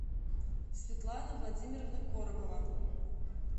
светлана владимировна коробова